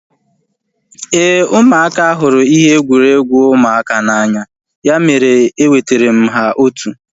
Éè, ụmụaka hụrụ ihe egwuregwu ụmụaka n'anya ya mere e wetara m ha otu